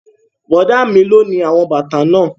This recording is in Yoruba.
Bọ̀dá mi lo ni àwọn bàtà náà